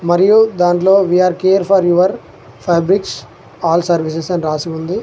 మరియు దాంట్లో we are care for your fabrics all services అని రాసి ఉంది.